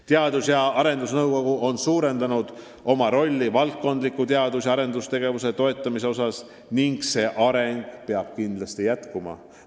Teadus- ja arendusnõukogu on suurendanud oma rolli valdkondliku teadus- ja arendustegevuse toetamisel ning see areng peab kindlasti jätkuma.